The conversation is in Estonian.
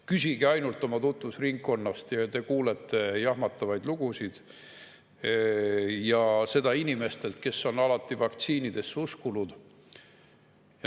Küsige ainult oma tutvusringkonnast ja te kuulete jahmatavaid lugusid, ja seda inimestelt, kes on alati vaktsiinidesse uskunud.